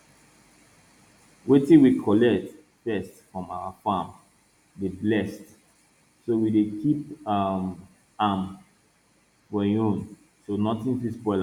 wetin we collect first from our farm dey blessed so we dey keep um am for en own so nothing fit spoil am